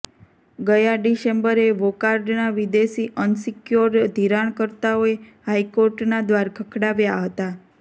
ગયા ડિસેમ્બરે વોકાર્ડના વિદેશી અનસિક્યોર્ડ ધિરાણકર્તાઓએ હાઈ કોર્ટનાં દ્વાર ખખડાવ્યાં હ તાં